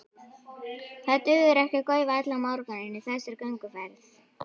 Það dugir ekki að gaufa allan morguninn í þessari gönguferð.